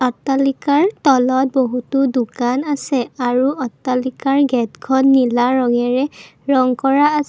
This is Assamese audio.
অট্টালিকাৰ তলত বহুতো দোকান আছে আৰু অট্টালিকাৰ গেটখন নীলা ৰঙেৰে ৰঙ কৰা আছ--